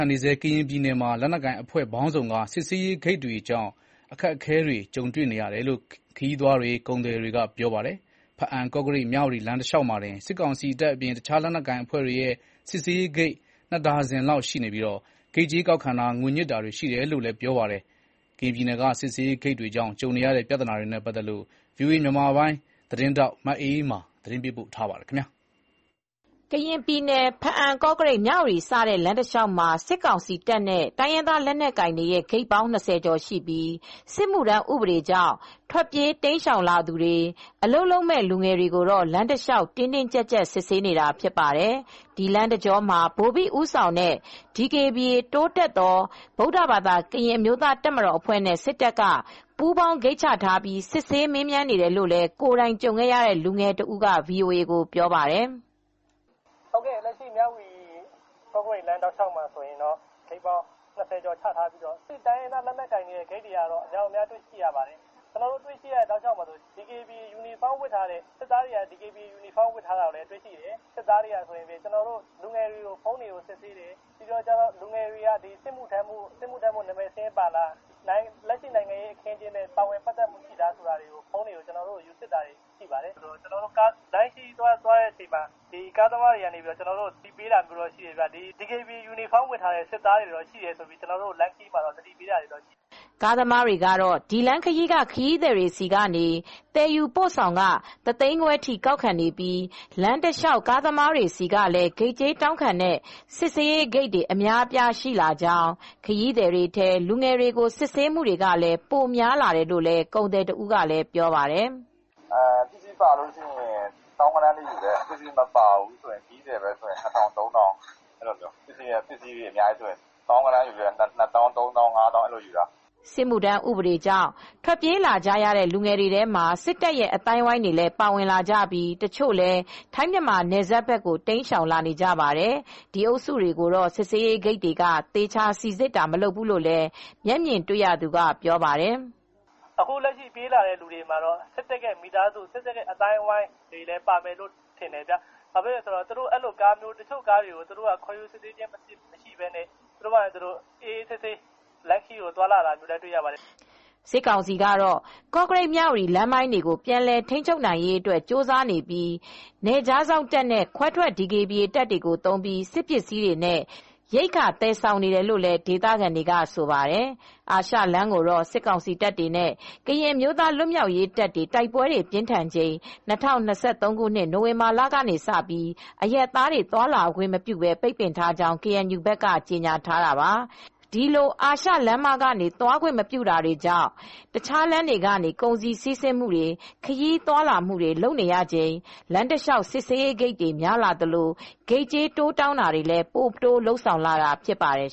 န်နေဆဲ ကရင်ပြည်နယ်မှာ လက်နက်ကိုင်အဖွဲ့ပေါင်းစုံက စစ်ဆေးရေးဂိတ်တွေကြောင့် အခက်အခဲတွေ ကြုံနေရတယ်လို့ ခရီးသွားတွေ၊ ကုန်သည်တွေကပြောပါတယ်။ ဖားအံ၊ ကော့ကရိတ်၊ မြဝတီ လမ်းတလျောက်မှာတင် စစ်ကောင်စီတပ်အပြင် တခြားလက်နက်ကိုင် အဖွဲ့တွေရဲ့ စစ်ဆေးရေးဂိတ် ၂ ဒါဇင်လောက် ရှိနေပြီးဂိတ်ကြေးကောက်ခံတာ၊ ငွေညှစ်တာတွေ ရှိတယ်လို့လည်း ပြောပါတယ်။ ကရင်ပြည်နယ်က စစ်ဆေးရေးဂိတ်တွေကြောင့် ကြုံနေရတဲ့ ပြဿနာတွေနဲ့ ပတ်သက်လို့ ဗွီအိုအေ မြန်မာပိုင်း သတင်းထောက် မအေးအေးမာ သတင်းပေးပို့ ထားပါတယ်။ ကရင်ပြည်နယ် ဖားအံ ကော့ကရိတ် မြဝတီစတဲ့လမ်းတလျောက်မှာ စစ်ကောင်စီတပ်နဲ့တိုင်းရင် ဂိတ်ပေါင်း ၂၀ကျော်ရှိပြီး စစ်မူ့ထမ်းဥပဒေကြောင့် ထွက်ပြေးတိမ်းရှောင်လာသူတွေအလုပ်လုပ်မယ့်လူငယ်တွေကို လမ်းတလျှောက်တင်းတင်းကြပ်ကြပ် စစ်ဆေးနေတာဖြစ်ပါတယ်။ ဒီလမ်းတကြောမှာ ဗိုလ်ဘိဦးဆောင်တဲ့ DKBA (တိုးတက်သော ဗုဒ္ဓဘာသာ ကရင့်အမျိုးသားတပ်မတော်) အဖွဲ့နဲ့ စစ်တပ်က ပူးပေါင်း ဂိတ်ချထားပြီး စစ်ဆေးမေးမြန်းနေတယ်လို့ ကိုယ်တိုင်ကြုံခဲ့ရတဲ့လူငယ်တဦးက VOA ကိုပြောပါတယ်။ "ကော့ကရိတ်မြဝတီ ကော့ကရိတ်လမ်းတလျှောက်မှာတော့ ဂိတ်ပေါင်း ၂၀ကျော်ချထားပြီးတော့ တိုင်းရင်းသား လက်နက်ကိုင်တွေရဲ့ဂိတ်တွေကတော့များတယ် ၊ ကျနော်တို့တွေရတဲ့ဂိတ်တွေမှာ စစ်သားတွေက DKBA ယူနီဖောင်းဝတ်ထားပြီး စစ်တယ်၊ စစ်သားတွေ တွေက ကျနော်တို့လူငယ်တွေရဲ့ဖုန်းတွေကိုစစ်ဆေးတယ်၊ ပြီးတော့လူငယ်တွေက စစ်မူ့ထမ်းဖို့နံမည်စာရင်းပါသလားစစ်တယ်၊ လက်ရှိနိုင်ငံရေးအခင်းအကျင်းနဲ့ပါဝင်ပတ်သက်သလားဆိုတာစစ်ပါတယ်၊ကျနော်တို့လမ်းခရီးသွားတဲ့အချိန်မှာကားသမားတွေက သတိပေးတာမျိုးတော့ရှိပါတယ် ၊လမ်းခရီးမှာစစ်သားတွေက DKBA ယူနီဖောင်းဝတ်ထားတဲ့စစ်သားတွေရှိတယ်ဆိုပြီးသတိပေးတာရှိတယ်။" ကားသမားတွေကတော့ ဒီလမ်းခရီးက ခရီးသည်တွေဆီက သယ်ယူပို့ဆောင်ခ တသိန်းခွဲထိကောက်ခံနေပြီး လမ်းတလျောက် ကားသမားတွေဆီကလည်း ဂိတ်ကြေးတောင်းခံတဲ့ စစ်ဆေးရေးဂိတ်တွေအများအပြားရှိလာကြောင်း၊ ခရီးသည်တွေထဲ လူငယ်တွေကို စစ်ဆေးမူတွေလည်း ပိုများလာတယ်လို့ လည်း ကုန်သည်တဦးကလည်းပြောပါတယ်။ "ပစ္စည်းပါရင် သောင်းဂဏန်းယူတယ် ပစ္စည်းမပါရင်လူတွေချည်းပဲဆိုရင် တဂိတ်မှာ ၂ထောင် ၃ထောင်လောက်ယူတယ် ။ ပစ္စည်းပါရင်တော့သောင်းဂဏန်းထိယူတယ် ၂သောင်း ၃သောင်း ၅သောင်းထိတောင်းပါတယ်။" စစ်မှုထမ်းဥပဒေကြောင့် ထွက်ပြေးကြရတဲ့လူငယ်တွေထဲမှာ စစ်တပ်ရဲ့အသိုင်းအဝိုင်းတွေလည်းပါဝင်ကြပြီး တချို့လည်း ထိုင်း မြန်မာနယ်စပ်ဘက်ကိုတိမ်းရှောင်လာနေကြပါတယ်။ ဒီအုပ်စုတွေကိုတော့ စစ်ဆေးရေးဂိတ်တွေက သေချာစီစစ်တာမလုပ်ဘူးလို့လည်း မျက်မြင်တွေ့ရသူကပြောပါတယ်။ "အခုလက်ရှိပြေးလာတဲ့သူတွေထဲမှာတော့စစ်တပ်နဲ့ပတ်သက်တဲ့ သူတွေလည်းပါမယ်လို့ယူဆပါတယ် တချို့ကားတွေကိုကျတော့ ဘာမှ အစစ်ဆေးမရှိတာတွေလည်းရှိတယ် ခေါ်ယူစစ်ဆေးတာမရှိဘူး တချို့ကားတွေကျတော့ အေးအေးဆေးဆေးသွားလာတာလည်းရှိတယ်။" စစ်ကောင်စီကတော့ ကော့ကရိတ်မြဝတီလမ်းပိုင်းတွေကိုပြန်လည်ထိန်းချုပ်နိုင်ရေးအတွက်ကြိုးစားနေပြီး နယ်ခြားစောင့်တပ်နဲ့ခွဲထွက် DKBA တပ်တွေကို သုံးပြီး စစ်ပစ္စည်းတွေနဲ့ ရိက္ခာသယ်ဆောင်နေတယ်လို့ ဒေသခံတွေကဆိုပါတယ်။ အာရှလမ်းကိုတော့ စစ်ကောင်စီတပ်တွေနဲ့ ကရင်အမျိုးသားလွတ်မြောက်ရေးတပ်တွေ တိုက်ပွဲတွေပြင်းထန်ချိန် ၂၀၂၃ခုနှစ် နိုဝင်ဘာလကနေ အရပ်သားတွေ သွားလာခွင့်မပြု ပိတ်ပင်ထားကြောင်း KNU ဘက်က ကြေညာထားတာပါ။ ဒီလို အာရှလမ်းမကနေ သွားခွင့်မပြုထားတာကြောင့် တခြားလမ်းတွေကနေ ကုန်စည်စီးဆင်းမူတွေ ခရီးသွားလာမူ့တွေလုပ်နေရချိန် လမ်းတလျောက် စစ်ဆေးရေးဂိတ်တွေ များလာသလို ဂိတ်ကြေးတိုးတောင်းတာတွေလည်း ပိုတိုးလုပ်ဆောင်လာတာဖြစ်ပါတယ်